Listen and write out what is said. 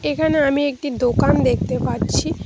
এখানে আমি একটি দোকান দেখতে পাচ্ছি।